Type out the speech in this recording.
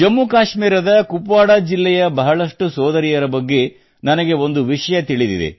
ಜಮ್ಮು ಕಾಶ್ಮೀರದ ಕುಪ್ವಾಡಾ ಜಿಲ್ಲೆಯ ಬಹಳಷ್ಟು ಸೋದರಿಯರ ಬಗ್ಗೆ ನನಗೆ ಒಂದು ವಿಷಯ ತಿಳಿದಿದೆ